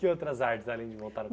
Que outras artes, além de montar no